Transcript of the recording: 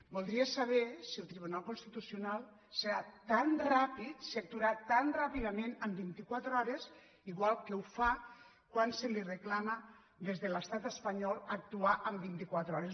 voldria saber si el tribunal cons·titucional serà tan ràpid si actuarà tan ràpidament en vint·i·quatre hores igual que ho fa quan se li reclama des de l’estat espanyol actuar en vint·i·quatre hores